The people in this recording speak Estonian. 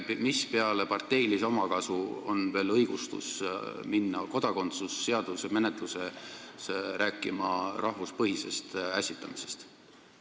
Mis peale parteilise omakasu veel õigustab seda, kui kodakondsuse seaduse menetluse puhul hakatakse rääkima rahvuspõhisest ässitamisest?